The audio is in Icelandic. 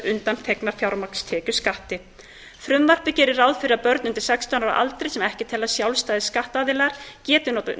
undanþegnar fjármagnstekjuskatti frumvarpið gerir ráð fyrir að börn undir sextán ára aldri sem ekki teljast sjálfstæðir skattaðilar geti